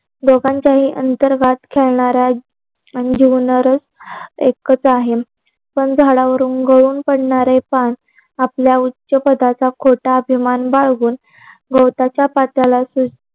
दोघांचेही अंतर्गत खेळणाऱ्या जीवनात एकच आहे. पण झाडवरून गळून पडणारे पान आपल्या उच्च पदाचा खोटा अभिमान बाळगू, गवताच्या पात्याला